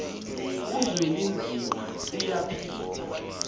uzwelinzima tuya phila